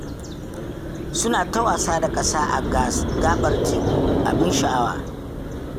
Suna ta wasa da ƙasa a gabar teku, abin sha'awa